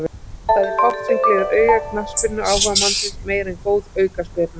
Það er fátt sem gleður auga knattspyrnuáhugamannsins meira en góð aukaspyrna.